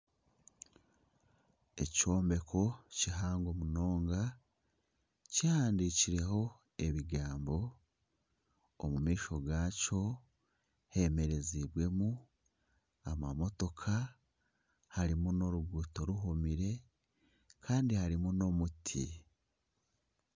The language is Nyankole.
Ekyombeko kihango munonga kihandiikireho ebigambo omu maisho gaakyo hemerezibwemu ama motooka harimu n'oruguuto rugumire kandi harimu n'omuti.